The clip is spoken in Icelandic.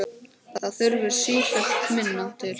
Það þurfti sífellt minna til.